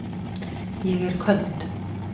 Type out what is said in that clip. Ég er köld.